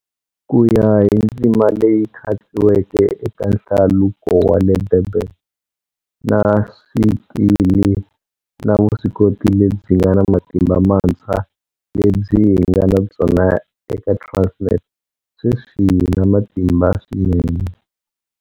Ku ya hi ndzima leyi khatsiweke eka Hlaluko wa le Durban, na swikili na vuswikoti lebyi nga na matimba mantshwa lebyi hi nga na byona eka Transnet, sweswi hi na matimba swinene.